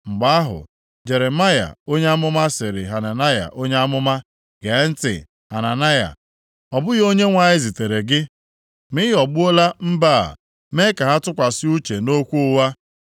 Mgbe ahụ, Jeremaya onye amụma sịrị Hananaya onye amụma, “Gee ntị, Hananaya! Ọ bụghị Onyenwe anyị zitere gị, ma ị ghọgbuola mba a mee ka ha tụkwasị uche nʼokwu ụgha.